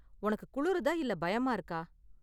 உனக்கு குளுருதா இல்ல பயமா இருக்கா?